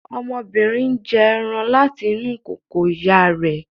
Ọmọbìnrin n jí ẹran láti inú kòkò ìyá rẹ̀